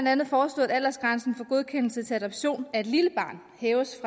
andet foreslået at aldersgrænsen for godkendelse til adoption af et lille barn hæves